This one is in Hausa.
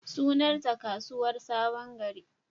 Sunanta Kasuwar sabon gari.